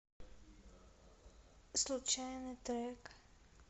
случайный трек